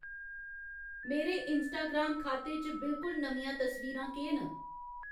मेरे इंस्टाग्राम खाते च बिलकुल नमियां तस्वीरां केह् न